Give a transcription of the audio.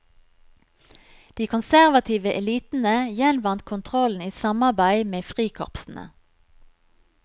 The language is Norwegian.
De konservative elitene gjenvant kontrollen i samarbeid med frikorpsene.